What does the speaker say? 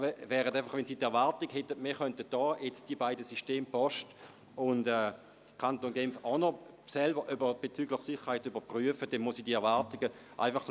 Wenn Sie erwarten, dass wir das System des Kantons Genf und jenes der Post auch noch selber betreffend die Sicherheit überprüfen, dann muss ich Ihre Erwartungen dämpfen.